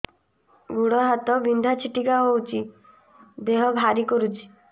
ଗୁଡ଼ ହାତ ବିନ୍ଧା ଛିଟିକା ହଉଚି ଦେହ ଭାରି କରୁଚି